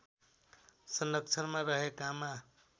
संरक्षणमा रहेकामा